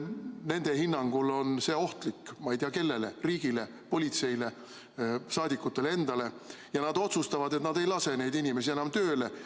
Nende hinnangul on see ohtlik, ma ei tea, kellele – riigile, politseile, saadikutele endale –, ja nad otsustavad, et nad ei lase neid inimesi enam tööle.